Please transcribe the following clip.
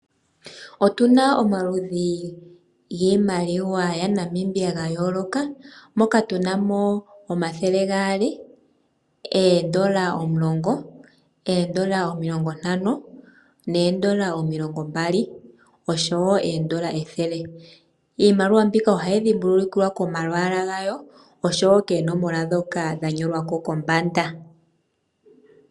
Otuna omaludhi giimaliwa yaNamibia ga yooloka moka tuna mo omathele gaali, oondola omulongo, oondola omilongo ntano noondola omilongo mbali oshowo oondola ethele. Iimaliwa mbika ohayi dhimbulukiwa komalwaala gayo oshowo koononola ndhoka dha nyolwa ko kombanda.